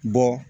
Bɔ